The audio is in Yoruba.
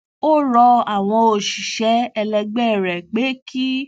ó rọ àwọn òṣìṣé ẹlẹgbé rè pé kí